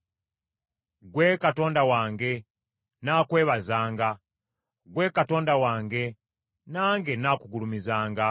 Ggwe Katonda wange, nnaakwebazanga; ggwe Katonda wange, nange nnaakugulumizanga.